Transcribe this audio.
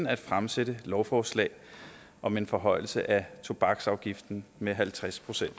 at fremsætte lovforslag om en forhøjelse af tobaksafgiften med halvtreds procent